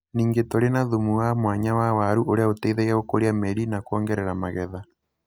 Ningĩ tũrĩ na thumu wa mwanya wa waru ũrĩa ũrateithia gũkũria mĩri na kuongerera magetha.